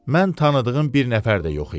Mən tanıdığım bir nəfər də yox idi.